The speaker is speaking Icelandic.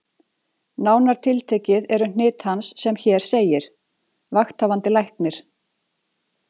Nánar tiltekið eru hnit hans sem hér segir: Vakthafandi Læknir